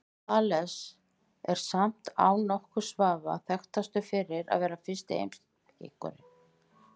Þales er samt án nokkurs vafa þekktastur fyrir að vera fyrsti heimspekingurinn.